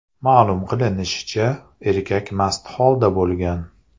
Ma’lum qilinishicha, erkak mast holda bo‘lgan.